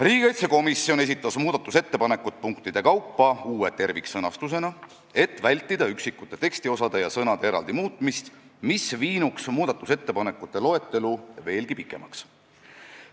Riigikaitsekomisjon esitas muudatusettepanekud punktide kaupa uue terviksõnastusena, et vältida üksikute tekstiosade ja sõnade eraldi muutmist, mis viinuks muudatusettepanekute loetelu veelgi pikemaks.